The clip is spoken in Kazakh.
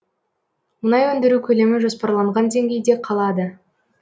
мұнай өндіру көлемі жоспарланған деңгейде қалады